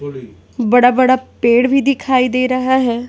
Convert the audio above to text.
बड़ा-बड़ा पेड़ भी दिखाई दे रहा है।